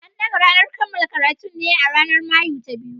An dagga ranar kammala karatun ne a ranar Mayu ta biyu.